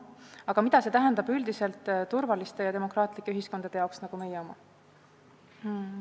Aga mida see tähendab üldiselt turvaliste ja demokraatlike ühiskondade jaoks nagu meie oma?